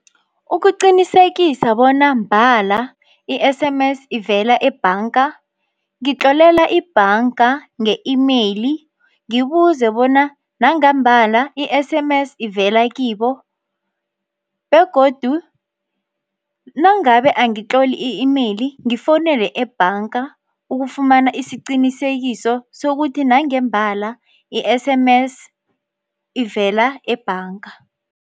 Ukuqinisekisa bona mbala i-S_M_S ivela ebhanga ngitlololela ibhanga nge-imeyili ngibuze bona nangambala i-S_M_S ivela kibo, begodu nangabe angitloli i-imeyili ngifonele ebhanga ukufumana isiqinisekiso sokuthi nangembala i-S_M_S ivela ebhanga.